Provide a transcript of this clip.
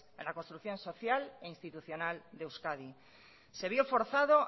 en la construcción social e institucional de euskadi se vio forzado